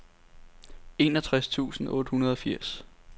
enogtres tusind otte hundrede og firs